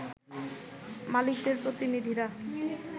মালিকদের প্রতিনিধিরা